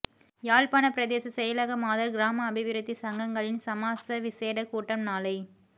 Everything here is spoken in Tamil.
யாழ்ப்பாணப் பிரதேச செயலக மாதர் கிராம அபிவிருத்திச் சங்கங்களின் சமாச விசேட கூட்டம் நாளை